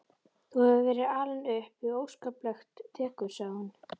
Þú hefur verið alinn upp við óskaplegt dekur sagði hún.